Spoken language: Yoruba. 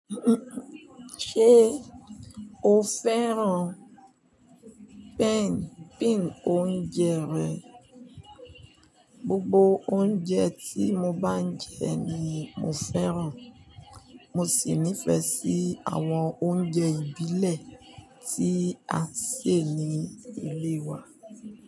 Ṣé o fẹ́ran pẹ́ń pìn oúnjẹ rẹ? Gbogbo oúnjẹ tí mo bá jẹ ni mo fẹ́ran. Mo sì nífẹsí àwọn oúnjẹ ìbílẹ̀ tí a ṣè ní ilé wa.